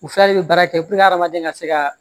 U fila de bɛ baara kɛ puruke hadamaden ka se ka